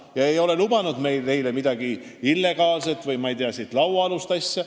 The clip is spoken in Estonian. Ma ei ole neile lubanud midagi illegaalset või mingit lauaalust asja.